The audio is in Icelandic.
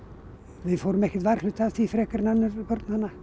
við fórum ekkert varhluta af því frekar en önnur börn þarna